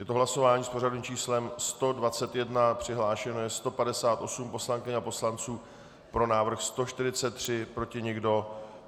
Je to hlasování s pořadovým číslem 121, přihlášeno je 158 poslankyň a poslanců, pro návrh 143, proti nikdo.